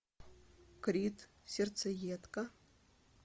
крид сердцеедка